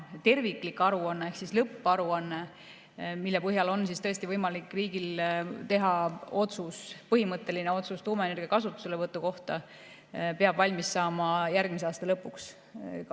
Terviklik aruanne ehk lõpparuanne, mille põhjal on võimalik riigil teha otsus, põhimõtteline otsus tuumaenergia kasutuselevõtu kohta, peab valmis saama järgmise aasta lõpuks.